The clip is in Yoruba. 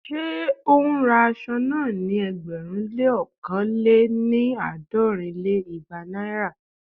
Ṣé ó ń ra aṣọ náà ní ẹgbẹ̀rún lé ókàn lé-ní- àádọ́rin lé igba Naira?